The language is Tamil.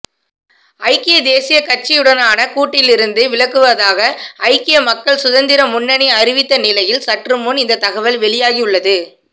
ஐக்கிய தேசியக் கட்சியுடான கூட்டிலிருந்து விலகுவதாக ஐக்கிய மக்கள் சுதந்திர முன்னணி அறிவித்த நிலையில் சற்றுமுன் இந்த தகவல் வெளியாகியுள்ளது